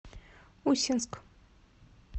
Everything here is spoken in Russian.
усинск